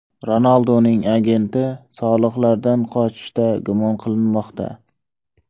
Ronalduning agenti soliqlardan qochishda gumon qilinmoqda.